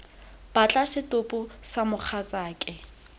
batla setopo sa ga mogatsaake